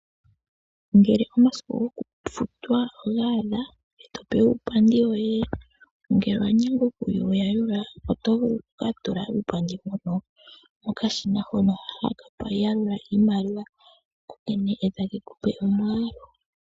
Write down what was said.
Ngele omasiku gokufutwa ogaadha eto pewa uupandi woye, ngele owanyengwa okuyi yalula oto vulu oku tula uupandi woye mokashina hoka haka yalula iimaliwa kokene eta kekupe omwaalu.